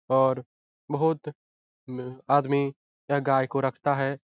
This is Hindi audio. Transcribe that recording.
और बहुत उह आदमी यह गाय को रखता है।